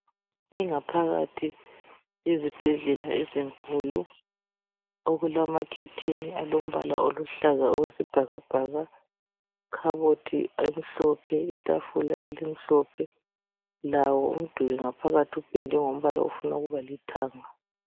Ingaphakathi yezibhedlela ezinkulu. Okulamakhetheni, alombala oluhlaza okwesibhakabhaka. lkhabothi emhlophe, itafula elimhlophe. Lawo umduli ngaphakathi upendwe ngombala ofuna ukuba lithanga.